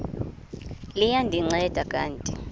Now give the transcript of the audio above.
liya ndinceda kanti